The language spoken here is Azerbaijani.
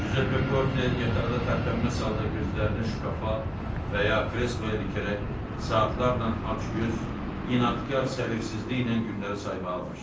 Cüzeppe Korte yataqda tərpənməz halda gözlərini şkafa və ya kresloya dikərək saatlarla acgöz, inadkar səbirsizliklə günləri saymağa başladı.